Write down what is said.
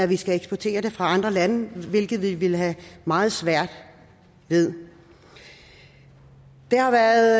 vi skal eksportere det fra andre lande hvilket vi ville have meget svært ved det har været